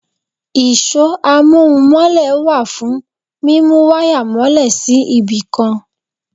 Ìṣọ́ amóhun-mọ́lẹ̀ wà fún mímú wáyà mọ́lè sí ibì kan.